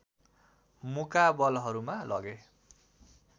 मुकाबलहरूमा लगे